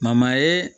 ye